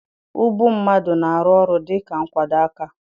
Ubu mmadụ na-arụ ọrụ dịka nkwado aka.